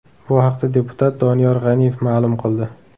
Bu haqda deputat Doniyor G‘aniyev ma’lum qildi .